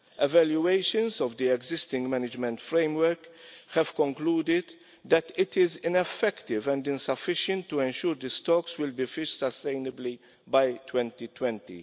Evaluations of the existing management framework have concluded that it is ineffective and insufficient to ensure the stocks will be fished sustainably by 2020.